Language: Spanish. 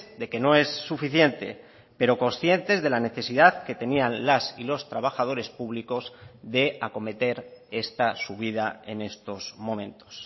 de que no es suficiente pero conscientes de la necesidad que tenían las y los trabajadores públicos de acometer esta subida en estos momentos